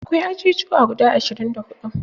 Akwai ajujuwa guda ashirin da huɗu